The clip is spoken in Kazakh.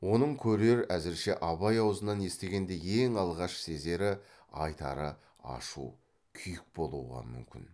оны көрер әзірше абай аузынан естігенде ең алғаш сезері айтары ашу күйік болуға мүмкін